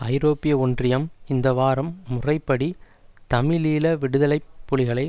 ஐரோப்பிய ஒன்றியம் இந்த வாரம் முறைப்படி தமிழீழ விடுதலை புலிகளை